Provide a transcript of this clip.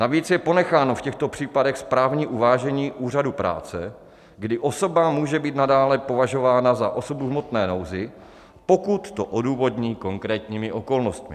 Navíc je ponecháno v těchto případech správní uvážení Úřadu práce, kdy osoba může být nadále považována za osobu v hmotné nouzi, pokud to odůvodní konkrétní okolnosti.